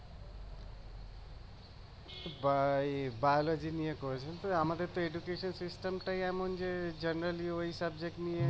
by biology নিয়ে আমাদের তো education টাই এমন যে generally ওই subject নিয়ে